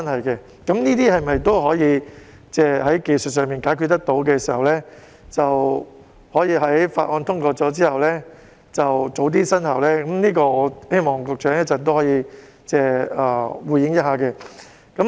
如果這些情況可以在技術上解決得到，在《條例草案》通過後可以及早生效，就此我希望局長稍後可以回應。